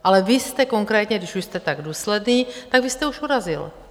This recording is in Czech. Ale vy jste konkrétně, když už jste tak důsledný, tak vy jste už urazil.